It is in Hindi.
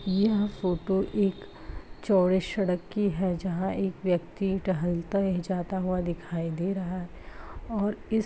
यह फोटो एक चौड़े सड़क की है। जहां एक व्यक्ति टहलता ही जाता हुआ दिखाई दे रहा है और इस --